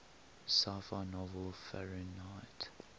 sci fi novel fahrenheit